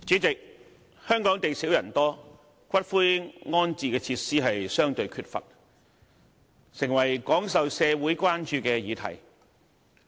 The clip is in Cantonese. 主席，香港地少人多，骨灰安置設施相對缺乏，成為廣受社會關注的議題。